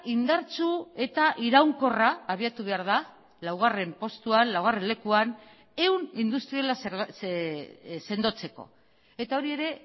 indartsu eta iraunkorra abiatu behar da laugarren postuan laugarren lekuan ehun industriala sendotzeko eta hori ere